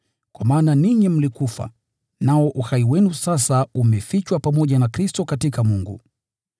Kwa maana ninyi mlikufa, nao uhai wenu sasa umefichwa pamoja na Kristo katika Mungu.